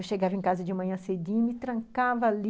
Eu chegava em casa de manhã cedinha, me trancava ali